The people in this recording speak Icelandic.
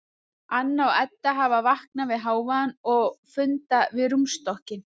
Anna og Edda hafa vaknað við hávaðann og funda við rúmstokkinn.